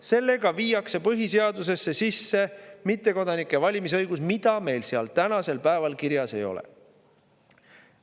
Sellega viiakse põhiseadusesse sisse mittekodanike valimisõigus, mida meil seal tänasel päeval kirjas ei ole.